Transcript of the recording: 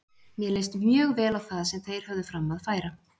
Mér leist mjög vel á það sem þeir höfðu fram að færa.